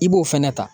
I b'o fɛnɛ ta